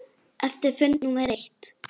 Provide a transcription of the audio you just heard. Eftir fund númer eitt.